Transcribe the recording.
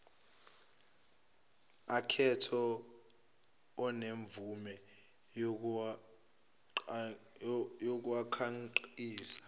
aketho onemvume yokukhangisa